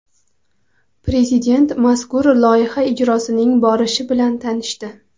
Prezident mazkur loyiha ijrosining borishi bilan tanishdi.